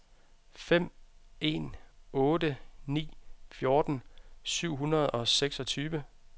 fem en otte ni fjorten syv hundrede og seksogtyve